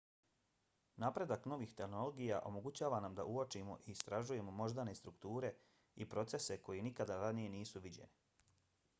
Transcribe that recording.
napredak novih tehnologija omogućava nam da uočimo i istražujemo moždane strukture i procese koji nikada ranije nisu viđeni